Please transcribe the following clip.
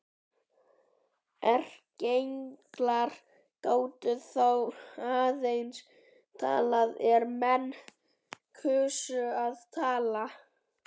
Erkienglar gátu þá aðeins talað er menn kusu að hlusta.